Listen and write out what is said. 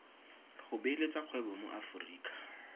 go beeletsa kgwebo mo aforika